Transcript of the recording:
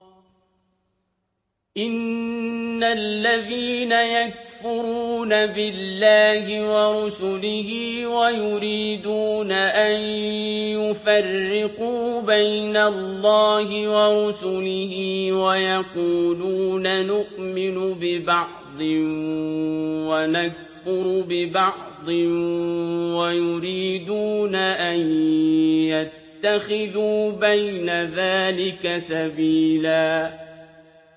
إِنَّ الَّذِينَ يَكْفُرُونَ بِاللَّهِ وَرُسُلِهِ وَيُرِيدُونَ أَن يُفَرِّقُوا بَيْنَ اللَّهِ وَرُسُلِهِ وَيَقُولُونَ نُؤْمِنُ بِبَعْضٍ وَنَكْفُرُ بِبَعْضٍ وَيُرِيدُونَ أَن يَتَّخِذُوا بَيْنَ ذَٰلِكَ سَبِيلًا